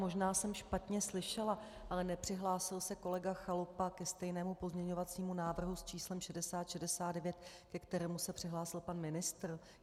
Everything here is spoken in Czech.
Možná jsem špatně slyšela, ale nepřihlásil se kolega Chalupa ke stejnému pozměňovacímu návrhu s číslem 6069, ke kterému se přihlásil pan ministr?